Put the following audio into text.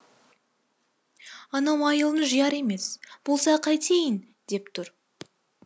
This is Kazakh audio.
анау айылын жияр емес болса қайтейін деп тұр